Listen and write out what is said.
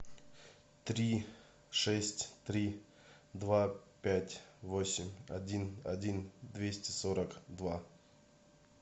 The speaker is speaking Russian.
три шесть три два пять восемь один один двести сорок два